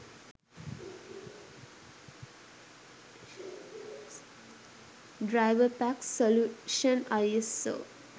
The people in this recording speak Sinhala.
driverpack solution iso